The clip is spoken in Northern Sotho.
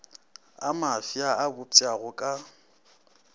a mafsa a bopšago ka